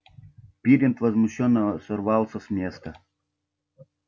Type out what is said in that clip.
пиренн возмущённо сорвался с места